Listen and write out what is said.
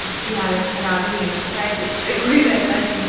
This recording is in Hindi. जिसकी हालत खराब ही है शायद इसपे कोई रहता नहीं।